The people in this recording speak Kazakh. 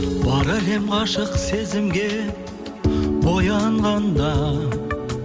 бар әлем ғашық сезімге боянғанда